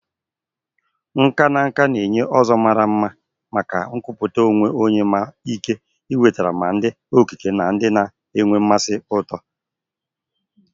Nkà na nka na-enye ụzọ mara mma maka nkwupụta onwe onye ma nwee ike iwetara ma ndị okike na ndị na-enwe mmasị ụtọ.